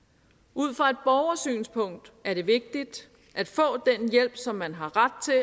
ud fra et borgersynspunkt er det vigtigt at få den hjælp som man har ret til